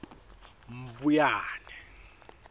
mbuyane